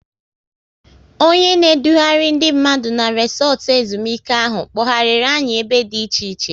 Onye na edughari ndị mmadụ na resotu ezumike ahụ, kpoghariri anyị ebe dị iche iche